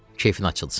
keyfin açılsın.